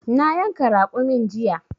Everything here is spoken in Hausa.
Na yanka raƙumin jiya.